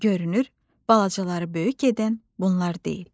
Görünür, balacaları böyük edən bunlar deyil.